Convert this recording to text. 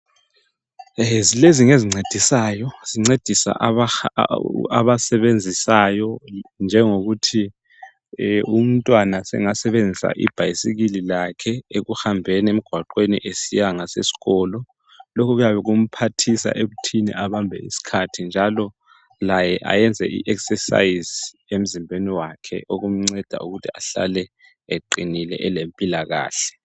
lezi ngezincedisa abasebenzisayo njengokuthi umntwana sengasebenzisa ibhayisikili lakhe ekuhambeni emgwaqeni besiya ngasesikolo lokhu kuyabe kumphathisa ekuthi abambe isikhathi njalo laye ayenze i exercise emzimbeni wakhe okumnceda ukuthi ahlale eqinile elempilakahle